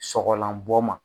Sɔgɔlanbɔ ma